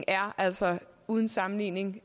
er altså uden sammenligning